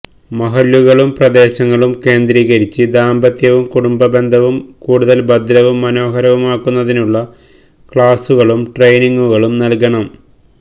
മഹല്ലുകളും പ്രദേശങ്ങളും കേന്ദ്രീകരിച്ച് ദാമ്പത്യവും കുടുംബ ബന്ധവും കൂടുതല് ഭദ്രവും മനോഹരവുമാക്കുന്നതിനുള്ള ക്ലാസുകളും ട്രെയ്നിംഗുകളും നല്കണം